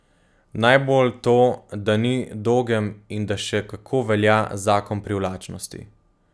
Najbolj to, da ni dogem in da še kako velja zakon privlačnosti.